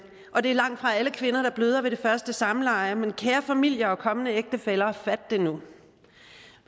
og det er langtfra alle kvinder der bløder ved det første samleje men kære familie og kommende ægtefælle fat det nu